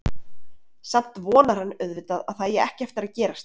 Samt vonar hann auðvitað að það eigi ekki eftir að gerast.